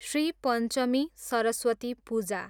Shri Panchami, Saraswati Puja